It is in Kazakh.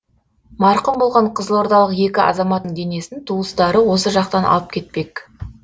марқұм болған қызылордалық екі азаматтың денесін туыстары осы жақтан алып кетпек